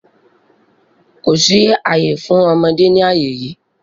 Kò sí àyè fún ọmọdé ní àyè yí!